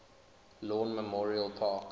lawn memorial park